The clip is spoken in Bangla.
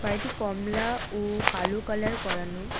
গাড়িটি কমলা ও কালো কালার করানো।